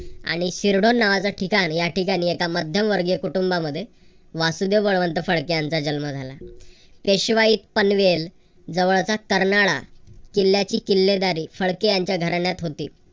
आणि शिरदोन नावाचं ठिकाण या ठिकाणी एका मध्यम वर्गीय कुटुंबामध्ये वासुदेव बळवंत फडके यांचा जन्म झाला. पेशवाई पनवेल जवळचा कर्नाळा. किल्ल्याची किल्लेदारी फडके यांच्या घराण्यात होती.